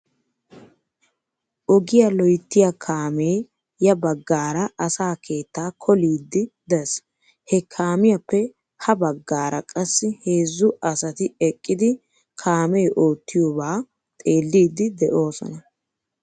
Ogiyaa loyttiyaa kaamee ya bagaara asaa keettaa koliiddi des. He kaamiyaappe ha bagaara qassi heezzu asati eqqidi laamee oottiyoobaa xeelliiddi de'oosona.